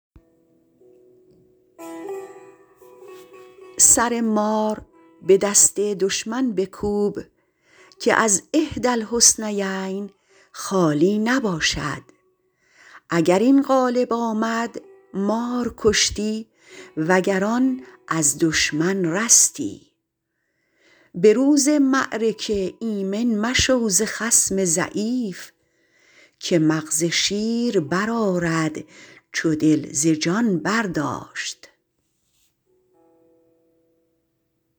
سر مار به دست دشمن بکوب که از احدی الحسنیین خالی نباشد اگر این غالب آمد مار کشتی و گر آن از دشمن رستی به روز معرکه ایمن مشو ز خصم ضعیف که مغز شیر برآرد چو دل ز جان برداشت